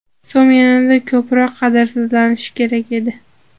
So‘m yanada ko‘proq qadrsizlanishi kerak edi!